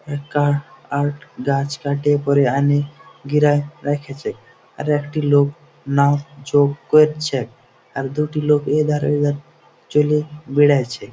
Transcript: একটা আখ গাছ কাটে পড়ে আনি ঘিরে রেখেছে আর একটি লোক মাপঝোপ করছেআর দুটি লোক এধার ওধার চলে বেড়াইছে।